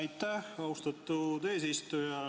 Aitäh, austatud eesistuja!